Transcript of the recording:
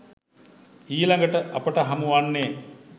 ඊළඟට අපට හමු වන්නේ